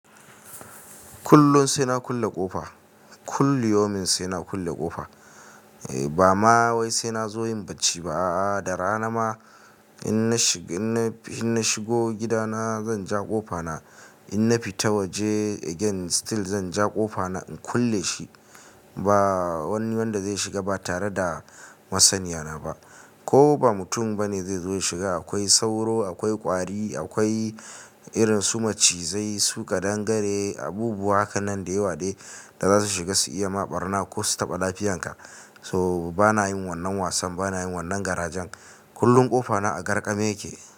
Kullum sai na kulle ƙofa, kullum yaumin sai na kulle ƙofa. Ba ma wai sai na zo yin bacci ba a'a, da rana ma in na shigo gidana zan ja ƙofa na, in na fita waje again still zan ja ƙofa na in kulle shi. Ba wani wanda zai shiga ba tare da masaniya na ba. Ko ba mutum bane zai zo ya shiga. Akwai sauro, akwai ƙwari, akwai irin su macizai su ƙadangare abubuwa haka nan da yawa dai da za su shiga su iya ma ɓarna ko su taɓa lafiyanka. To bana yin wannan wasan, bana yin wannan garajan. Kullum ƙofa na a garƙame yake.